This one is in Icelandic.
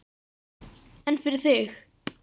En fyrir þig?